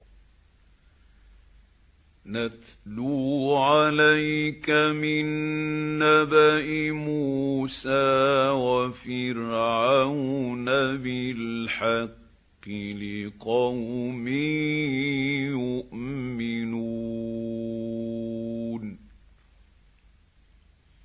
نَتْلُو عَلَيْكَ مِن نَّبَإِ مُوسَىٰ وَفِرْعَوْنَ بِالْحَقِّ لِقَوْمٍ يُؤْمِنُونَ